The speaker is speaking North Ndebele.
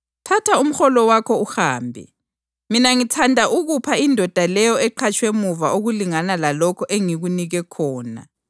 Thatha umholo wakho uhambe. Mina ngithanda ukupha indoda leyo eqhatshwe muva okulingana lalokho engikunike khona.